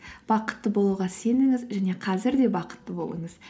бақытты болуға сеніңіз және қазір де бақытты болыңыз